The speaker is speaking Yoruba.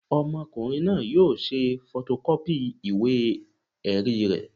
Ọmọkùnrin náà yóò ṣe fọtọkọ́pì ìwé-ẹ̀rí rẹ̀